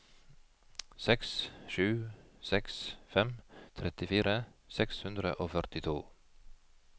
seks sju seks fem trettifire seks hundre og førtito